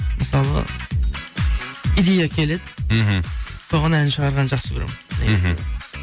мысалға идея келеді мхм соған ән шығарғанды жақсы көремін мхм